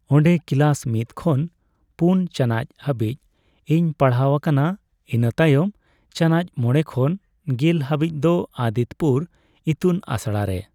ᱚᱸᱰᱮ ᱠᱤᱞᱟᱹᱥ ᱢᱤᱫ ᱠᱷᱚᱱ ᱯᱩᱱ ᱪᱟᱱᱟᱪ ᱦᱟᱵᱤᱪ ᱤᱧ ᱯᱟᱲᱦᱟᱣ ᱟᱠᱟᱱᱟ ᱤᱱᱟᱹ ᱛᱟᱭᱚᱢ ᱪᱟᱱᱟᱪ ᱢᱚᱲᱮ ᱠᱷᱚᱱ ᱜᱮᱞ ᱦᱟᱵᱤᱪ ᱫᱚ ᱟᱫᱤᱛᱛᱚᱯᱩᱨ ᱤᱛᱩᱱ ᱟᱥᱲᱟ ᱨᱮ ᱾